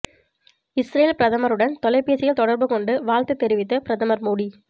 Israel பிரதமருடன் தொலைபேசியில் தொடர்பு கொண்டு வாழ்த்து தெரிவித்த பிரதமர் மோடி